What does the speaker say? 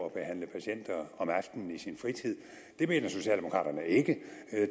at behandle patienter om aftenen i sin fritid det mener socialdemokraterne ikke